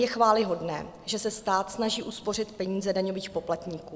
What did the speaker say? Je chvályhodné, že se stát snaží uspořit peníze daňových poplatníků.